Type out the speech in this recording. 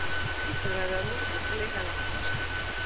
Íslendingar veiddu þó eitthvað lítilræði af lúðu til innanlandsneyslu.